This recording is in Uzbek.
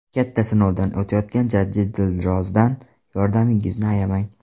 Katta sinovdan o‘tayotgan jajji Dilrozdan yordamingizni ayamang.